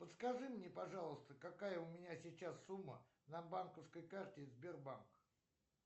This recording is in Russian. подскажи мне пожалуйста какая у меня сейчас сумма на банковской карте сбербанк